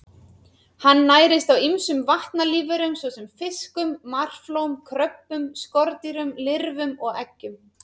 Hann nærist á ýmsum vatnalífverum svo sem fiskum, marflóm, kröbbum, skordýrum, lirfum og eggjum.